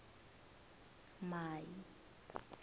mai